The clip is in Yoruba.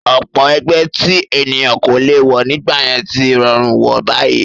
Ọ̀pọ̀ ẹgbẹ́ tí ènìyàn kò lè wọ̀ nígbà yẹn tí rọrùn wọ̀ báyìí